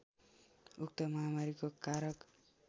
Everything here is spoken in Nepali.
उक्त महामारीको कारक